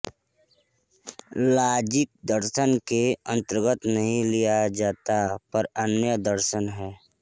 logic दर्शन के अंतर्गत नहीं लिया जाता पर न्याय दर्शन है